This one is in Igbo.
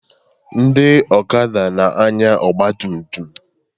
Ndị okada na-anya ọgba tum tum